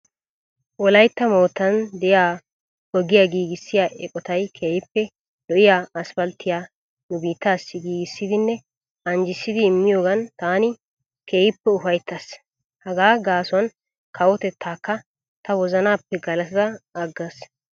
Wolayitta moottan de'iya ogiya giigissiya eqotayi keehippe lo'iya asphalttiya nu biittaassi giigissidinne anjjissidi immiyoogan taani keehippe ufayittaas. Hagaa gaasuwan kawotettaakka ta wozanappe galatada aggaas.